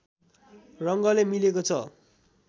रङ्गले मिलेको छ